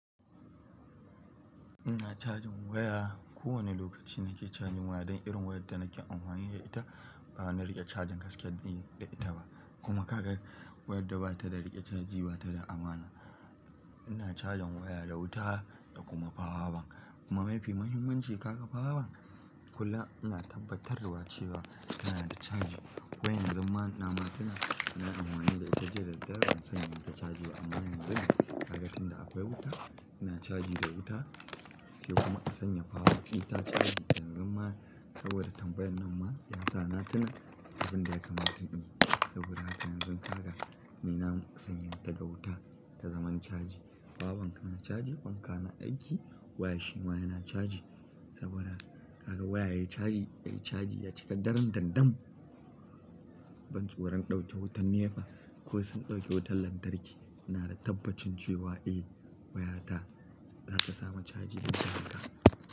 Ina cajin waya, kowane lokaci nake caji waya don irin wayar da nake amfani da ita, ba na riƙe cajin gaskiya da ita ba. Kuma kaga wayar da ba ta da riƙe caji ba tana da amana. Ina cajin waya da wuta da kuma power bank. Kuma mafi muhimmanci ka ga power bank kula ina tabbatarwa cewa tana da cajin. Wai yan zun ma nama tuna, nayi amfani da ita jiya da daddare ban sanya mata caji ba, amma yanzun ka ga tunda akwai wuta ina caji da wuta, sai kuma in sanya power bank ɗita caji. Yanzun ma saboda tambayar nan ma, ya sa na tuna abin da ya kamata in yi. Saboda haka yanzun ka ga, ni na sanya ta ga wuta ta zaman caji. Power bank na caji, fanka na aiki, waya shi ma yana caji. Saboda kaga waya yayi caji, yayi caji ya cika daran-dandam. Ban tsoron ɗauke wutar nepa, ko sun ɗauke wutan lantarki. Ina da tabbacin cewa eh, wayata za ta samu caji duk da haka.